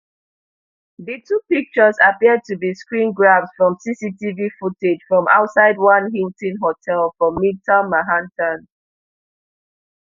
di two pictures appear to be screengrabs from cctv footage from outside one hilton hotel for midtown manhattan